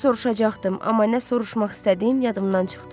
Nəsə soruşacaqdım, amma nə soruşmaq istədiyim yadımdan çıxdı.